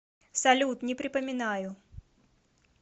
салют не припоминаю